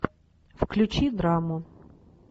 включи драму